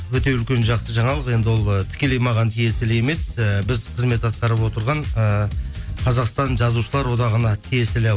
өте үлкен жақсы жаңалық енді ол і тікелей маған тиесілі емес ііі біз қызмет атқарып отырған ііі қазақстан жазушылар одағына тиесілі